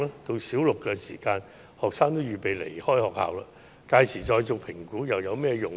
到小六時學生已預備離開學校，屆時才做評估又有甚麼作用？